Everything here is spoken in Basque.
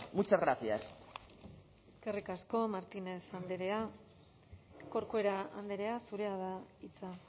muchas gracias eskerrik asko martínez andrea corcuera andrea zurea da hitza